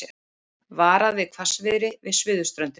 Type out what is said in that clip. Varað við hvassviðri við suðurströndina